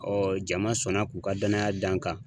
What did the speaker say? Ɔɔ jama sɔnna k'u ka danaya da n kan